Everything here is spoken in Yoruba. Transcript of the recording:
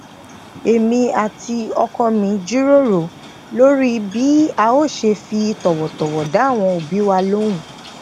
èmi àti okoo mi jíròrò lori bi a o se fi towotowo da awon obi wa lohun